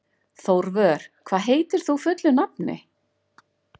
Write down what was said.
Þórvör, hvað heitir þú fullu nafni?